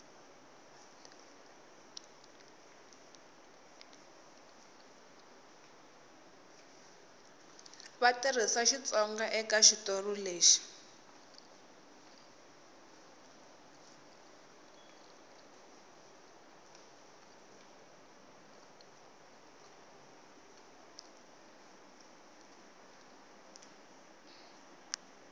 va tirhisa xitsonga ekaxitori lexi